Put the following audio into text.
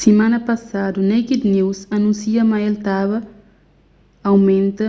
simana pasadu naked news anúnsia ma el ta ba aumenta